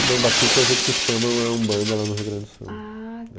Não, batuque é o jeito que chamam a umbanda lá no Rio Grande do Sul.